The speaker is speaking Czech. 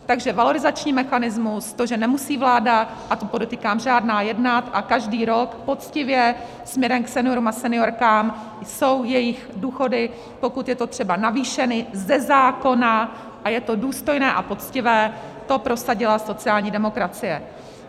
Takže valorizační mechanismus, to, že nemusí vláda, a to podotýkám, žádná, jednat, a každý rok poctivě směrem k seniorům a seniorkám jsou jejich důchody, pokud je to třeba, navýšeny ze zákona, a je to důstojné a poctivé, to prosadila sociální demokracie.